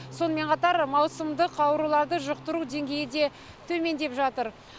сонымен қатар маусымдық ауруларды жұқтыру деңгейі де төмендеп жатыр